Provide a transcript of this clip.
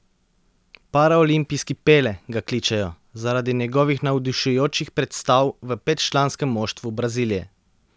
Paraolimpijski Pele ga kličejo, zaradi njegovih navdušujočih predstav v petčlanskem moštvu Brazilije.